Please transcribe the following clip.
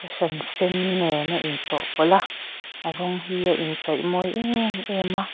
hran sen nen a in chawhpawl a a rawng hi a inchawih mawi em em a.